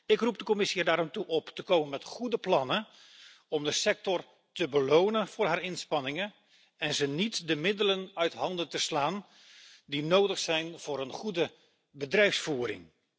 Ik roep de Commissie er daarom toe op te komen met goede plannen om de sector te belonen voor haar inspanningen en haar niet de middelen uit handen te slaan die nodig zijn voor een goede bedrijfsvoering.